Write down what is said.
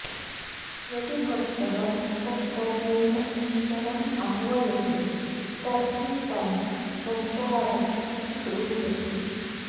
यदि भक्तः अन्तःकरणेन ईश्वरं आह्वयते तर्हि तं पञ्चारति इति ब्रूयते